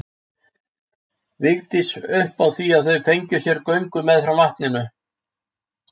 Vigdís upp á því að þau fengju sér göngu meðfram vatninu.